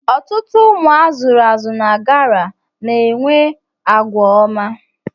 Ọtụtụ ụmụ azụrụ na GRA na-enwe àgwà ọma.